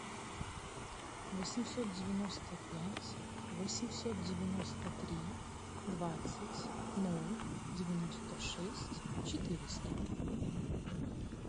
восемьсот девяносто пять восемьсот девяносто три двадцать ноль девяносто шесть четыреста